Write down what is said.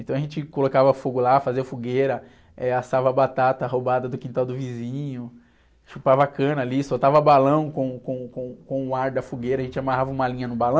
Então a gente colocava fogo lá, fazia fogueira, eh, assava batata roubada do quintal do vizinho, chupava cana ali, soltava balão com, com, com, com o ar da fogueira, a gente amarrava uma linha no balão...